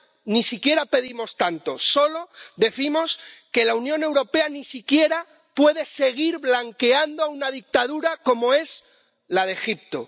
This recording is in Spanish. Ya ni siquiera pedimos tanto, solo decimos que la Unión Europea no puede seguir blanqueando una dictadura como es la de Egipto.